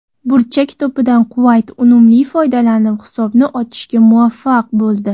Burchak to‘pidan Quvayt unumli foydalanib, hisobni ochishga muvaffaq bo‘ldi.